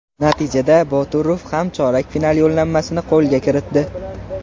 Natijada Boturov ham chorak final yo‘llanmasini qo‘lga kiritdi.